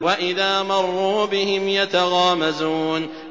وَإِذَا مَرُّوا بِهِمْ يَتَغَامَزُونَ